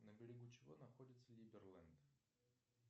на берегу чего находится либерленд